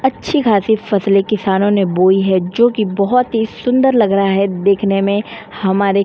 अच्छी खासी फसले किसानों ने बोई है जोकि बहोत ही सुंदर लग रहा है देखने में। हमारे --